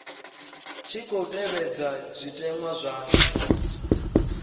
tshi khou tevhedzwa zwitenwa zwa